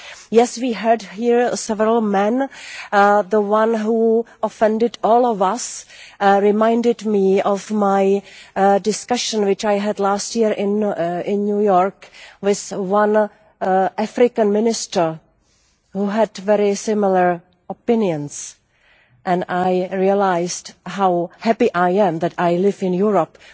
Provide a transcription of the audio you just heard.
Yes, we heard here from several men and the one who offended all of us reminded me of a discussion I had last year in New York with an African minister who had very similar opinions, and I realised how happy I am to live in Europe,